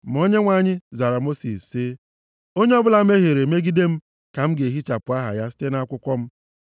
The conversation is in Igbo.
Ma Onyenwe anyị zara sị Mosis, “Onye ọbụla mehiere megide m ka a ga-ehichapụ aha ya site nʼakwụkwọ m.